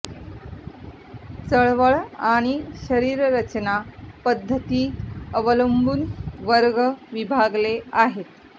चळवळ आणि शरीर रचना पद्धती अवलंबून वर्ग विभागले आहेत